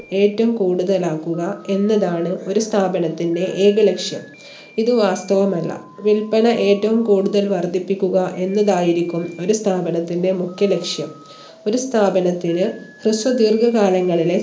ഏറ്റവും കൂടുതലാക്കുക എന്നതാണ് ഒരു സ്ഥാപനത്തിന്റെ ഏക ലക്ഷ്യം ഇത് വാസ്തവമല്ല വിൽപന ഏറ്റവും കൂടുതൽ വർധിപ്പിക്കുക എന്നതായിരിക്കും ഒരു സ്ഥാപനത്തിന്റെ മുഖ്യ ലക്ഷ്യം ഒരു സ്ഥാപനത്തിന് ഹൃസ്വ ദീർഘകാലങ്ങളിലെ